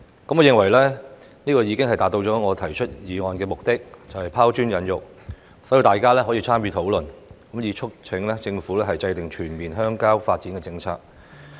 我認為這已經達到了我提出議案的目的，就是拋磚引玉，讓大家參與討論，促請政府制訂全面鄉郊發展的政策。